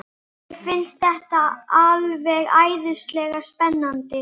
Mér finnst þetta alveg æðislega spennandi.